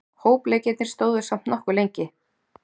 Hópleikirnir stóðu samt nokkuð lengi.